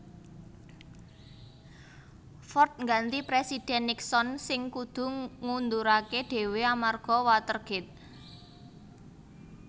Ford ngganti Présidhèn Nixon sing kudu ngunduraké dhéwé amarga Watergate